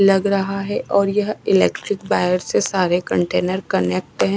लग रहा है और यह इलेक्ट्रिक वायर से सारे कंटेनर कनेक्ट है।